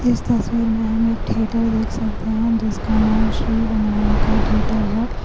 تصویر میں ہم ایک تھیٹر دیکھ سکتے هی جسکا نام سری ونایکا تھیٹر هی.